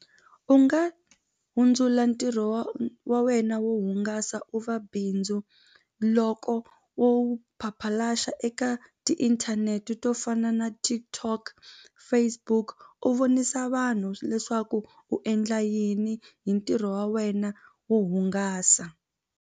U nga hundzula ntirho wa wa wena wo hungasa u va bindzu loko wo eka tiinthanete to fana na TikTok, Facebook u vonisa vanhu leswaku u endla yini hi ntirho wa wena wo hungasa.